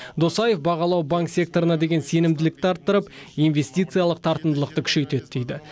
досаев бағалау банк секторына деген сенімділікті арттырып инвестициялық тартымдылықты күшейтеді дейді